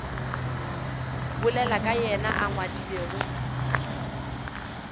bolelago ka yena a ngwadilego